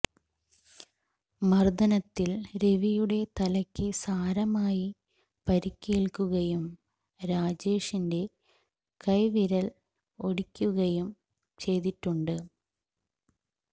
മര്ദ്ദനത്തില് രവിയുടെ തലക്ക് സാരമായി പരിക്കേല്ക്കുകയും രാജേഷിണ്റ്റെ കൈവിരല് ഒടിയുകയും ചെയ്തിട്ടുണ്ട്